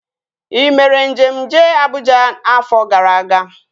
Ị mere njem jee Abụja afọ gara aga?